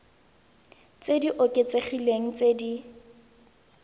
tse di oketsegileng tse di